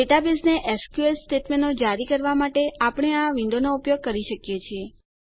ડેટાબેઝને એસક્યુએલ સ્ટેટમેંટો જારી કરવાં માટે આપણે આ વિન્ડોનો ઉપયોગ કરી શકીએ છીએ